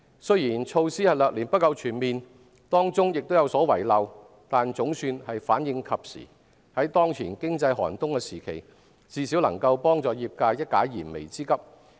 儘管措施略嫌不夠全面，當中有所遺漏，但總算反應及時，在當前經濟寒冬時期，最少能夠幫助業界一解燃眉之急。